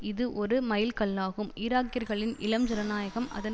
இது ஒரு மைல் கல்லாகும் ஈராக்கியர்களின் இளம் ஜனநாயகம் அதன்